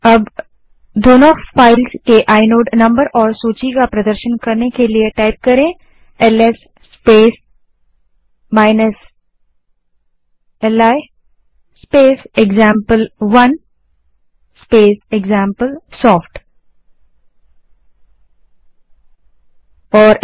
अब दोनों फाइल्स के आइनोड नंबर और सूची का प्रदर्शन करने के लिए LS space li space example one space example soft command type करें